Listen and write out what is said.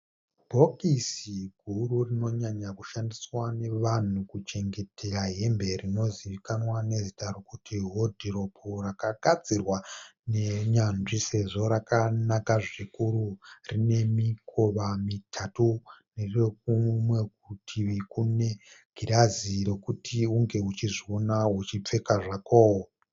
Bhokisi guru rinonyanya kushandiswa nevanhu kuchengetera hembe rinozivikanwa nezita rokuti hodhiropi rakagadzirwa nenyanzvi sezvo rakanaka zvikuru. Rine mikova mitatu. Rine kumwe kurutivi kune girazi rokuti unge uchizviona uchipfeka zvako.